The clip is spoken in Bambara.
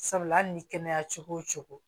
Sabula hali ni kɛnɛya cogo o cogo